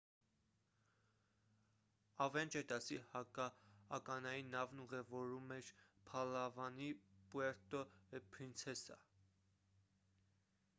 ավենջեր դասի հակաականային նավն ուղևորվում էր փալավանի պուերտո պրինցեսա